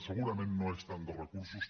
segurament no és tant de recursos